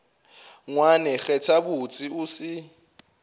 ngwane kgetha botse o se